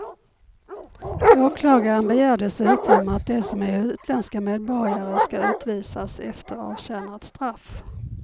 Åklagaren begär dessutom att de som är utländska medborgare ska utvisas efter avtjänat straff.